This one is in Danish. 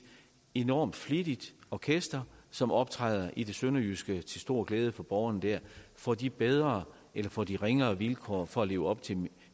enormt flittigt orkester som optræder i det sønderjyske til stor glæde for borgerne der får de bedre eller får de ringere vilkår for at leve op til